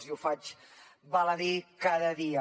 i ho faig val a dir cada dia